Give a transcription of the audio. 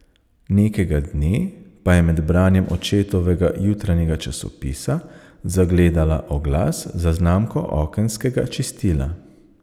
Nekega dne pa je med branjem očetovega jutranjega časopisa zagledala oglas za znamko okenskega čistila.